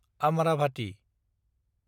Amravati